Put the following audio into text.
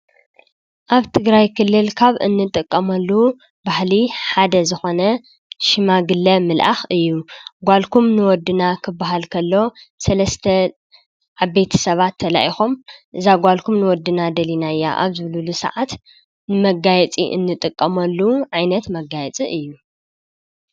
ኣብ ትግራይ ክልል ካብ እንጥቀመሉ ባህሊ ሓደ ዝኾነ ሽማግለ ምልኣኽ እዩ፡፡ ጓልኩም ንወድና ክባሃል ከሎ 3+ ዓበይቲ ሰባት ተላኢኾም እዛ ጓልኩም ንወድና ደሊናያ ኣብ ዝብልሉ ሰዓት ንመጋየፂ እንጥቀመሉ ዓይነት መጋየፂ እዩ፡፡